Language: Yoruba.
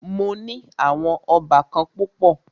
Mó ní àwọn óbàkan púpọ̀.